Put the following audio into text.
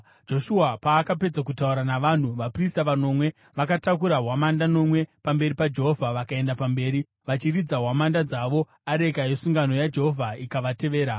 Joshua paakapedza kutaura navanhu, vaprista vanomwe vakatakura hwamanda nomwe pamberi paJehovha vakaenda pamberi, vachiridza hwamanda dzavo, areka yesungano yaJehovha ikavatevera.